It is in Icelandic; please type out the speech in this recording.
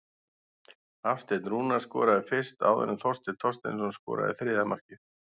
Hafsteinn Rúnar skoraði fyrst áður en Þorsteinn Þorsteinsson skoraði þriðja markið.